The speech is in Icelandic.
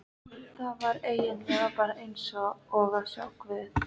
Það var eigin lega bara eins og að sjá guð.